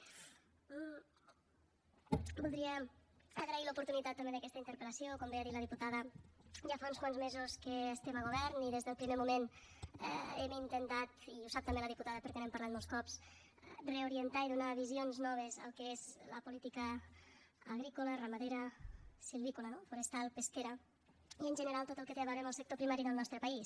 voldria agrair l’oportunitat també d’aquesta interpel·lació com bé ha dit la diputada ja fa uns quants mesos que estem a govern i des del primer moment hem intentat i ho sap també la diputada perquè n’hem parlat molts cops reorientar i donar visions noves al que és la política agrícola ramadera silvícola no forestal pesquera i en general tot el que té a veure amb el sector primari del nostre país